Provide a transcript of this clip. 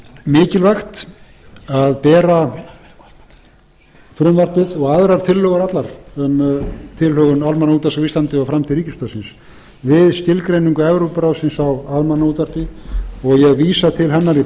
mikilvægt að bera frumvarpið og aðrar tillögur allar um tilhögun almannaútvarps á íslandi og framtíð ríkisútvarpsins við skilgreiningu evrópuráðsins á almannaútvarpi og ég vísa til hennar í